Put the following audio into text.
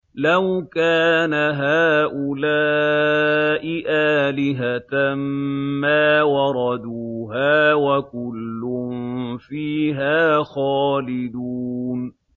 لَوْ كَانَ هَٰؤُلَاءِ آلِهَةً مَّا وَرَدُوهَا ۖ وَكُلٌّ فِيهَا خَالِدُونَ